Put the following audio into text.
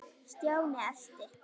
Stjáni elti.